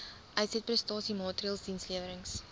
uitsetprestasie maatreëls dienslewerings